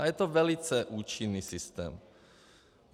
A je to velice účinný systém.